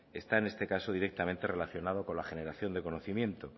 está en este caso directamente relacionado con la generación de conocimiento